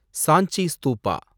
Sanchi Stupa